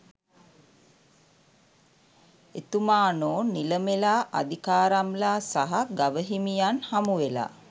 එතුමානෝ නිලමෙලා අධිකාරම්ලා සහ ගවහිමියන් හමුවෙලා